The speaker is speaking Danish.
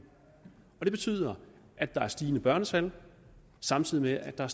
og det betyder at der er stigende børnetal samtidig med at der